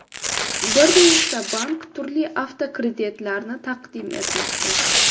Bir nechta bank turli avtokreditlarni taqdim etmoqda.